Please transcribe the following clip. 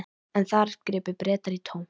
En þar gripu Bretar í tómt.